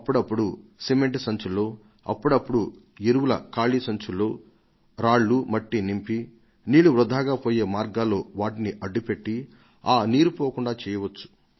అప్పుడప్పుడు సిమెంట్ సంచులలో అప్పుడప్పుడు ఎరువుల ఖాళీ సంచులలో రాళ్లు మట్టి నింపి నీళ్లు వృథాగా పోయే మార్గాల్లో వాటిని అడ్డు పెట్టి ఆ నీరు పోకుండా చేయవచ్చు